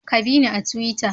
Ka bina a tuwita